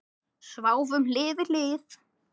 Sváfum hlið við hlið.